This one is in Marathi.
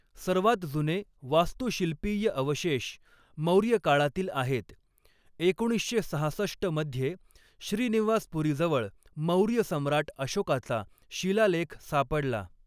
सर्वात जुने वास्तुशिल्पीय अवशेष मौर्य काळातील आहेत, एकोणीसशे सहासष्ट मध्ये, श्रीनिवासपुरीजवळ मौर्य सम्राट अशोकाचा शिलालेख सापडला.